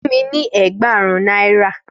Fún mi ni ẹẹgbarun naira.